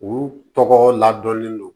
U tɔgɔ ladɔnlen don